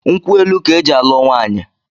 Nkwu elu ka e ji alu nwaanyị